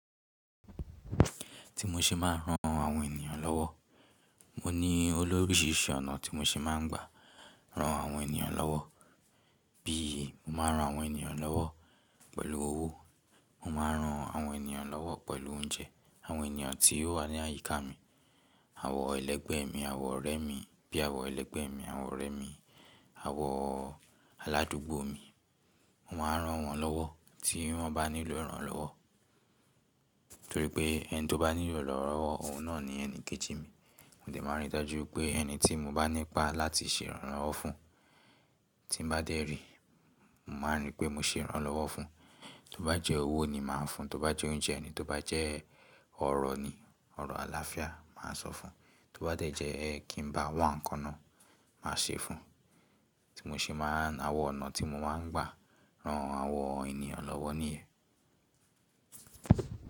Ti mo ṣe máa ń ran àwọn ènìyàn lọ́wọ́, mo ní olóríṣìírṣìí ọ̀nà tí mo ṣe máa ń gbà ran àwọn ènìyàn lọ́wọ́. Bí i mo máa ran àwọn ènìyàn lọ́wọ́ pẹ̀lú owó, mo máa ran àwọn ènìyàn lọ́wọ́ pẹ̀lú oúnjẹ. Àwọn ènìyàn tí ó wà ní àyíká mi, àwọ̀n ẹlẹgbẹ́ mi, àwọ̀n ọ̀rẹ́ mi, bí àwọ̀n ẹlẹgbẹ́ mi, àwọ̀n ọ̀rẹ́ mi, àwọ̀n aládùúgbò mi. Mo máa ran wọ́n lọ́wọ́ tí wọ́n bá nílò ìrànlọ́wọ́. Nítorí pé ẹni tí ó bá nílò ìrànlọ́wọ́, òun náà ni ẹni kejì mi. Mo de máa rí i dájú pé ẹni tí mo bá ní ipá láti ṣe ìrànlọ́wọ́ fún, tí n bá dé rì, mo máa rí pé mo ṣe ìrànlọ́wọ́ fún un. Tó bá jẹ́ owó ni màá fún un, tó bá jẹ́ oúnjẹ ni, tó bá jẹ́ ọ̀rọ̀ ni, ọ̀rọ̀ àlàáfíà màá sọ fún un. Tó bá dẹ̀ jẹ́ kí n bá wá nǹkan náà, màá ṣe é fún un. Ti mo ṣe máa n— àwọn ọ̀nà tí mo máa ń gbà ran àwọn ènìyàn lọ́wọ́ nìyẹn.